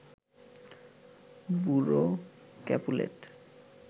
বুড়ো ক্যাপুলেট